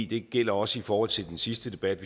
det gælder også i forhold til den sidste debat